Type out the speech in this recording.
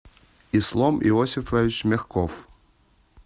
ислом иосифович мягков